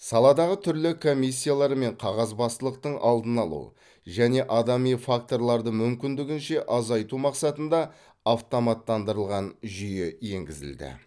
саладағы түрлі комиссиялар мен қағазбастылықтың алдын алу және адами факторларды мүмкіндігінше азайту мақсатында автоматтандырылған жүйе енгізілді